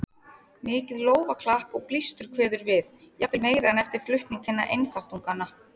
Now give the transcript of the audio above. Mikið lófaklapp og blístur kveður við, jafnvel meira en eftir flutning hinna einþáttunganna.